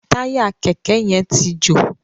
Táyà kẹ̀kẹ́ yén tí jo.